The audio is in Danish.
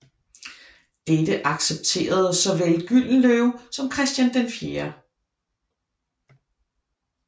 Dette accepterede såvel Gyldenløve som Christian 4